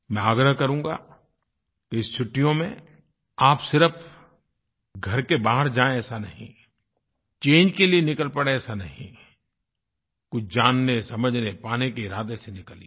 मैं आग्रह करूँगा कि इस छुट्टियों में आप सिर्फ घर के बाहर जाएँ ऐसा नहीं चंगे के लिए निकल पड़ें ऐसा नहीं कुछ जानने समझनेपाने के इरादे से निकलिए